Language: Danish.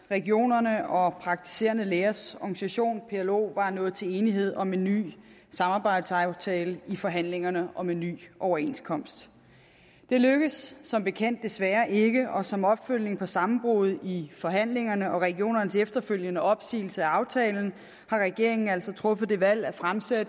at regionerne og praktiserende lægers organisation plo var nået til enighed om en ny samarbejdsaftale i forhandlingerne om en ny overenskomst det lykkedes som bekendt desværre ikke og som opfølgning på sammenbruddet i forhandlingerne og regionernes efterfølgende opsigelse af aftalen har regeringen altså truffet det valg at fremsætte